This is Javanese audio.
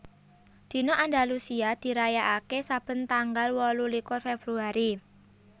Dina Andalusia dirayakaké saben tanggal wolulikur Februari